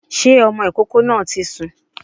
Sé ọmọ ìkókó náà ti sùn?